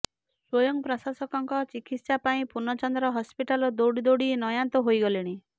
ସ୍ୱୟଂ ପ୍ରକାଶଙ୍କ ଚିକିତ୍ସା ପାଇଁ ପୂର୍ଣ୍ଣଚନ୍ଦ୍ର ହସ୍ପିଟାଲ ଦୌଡି ଦୌଡି ନୟାନ୍ତ ହୋଇଗଲେଣି